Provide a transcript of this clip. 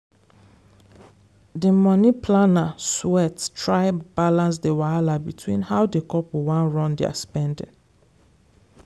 the money planner sweat try balance the wahala between how the couple wan run their spending.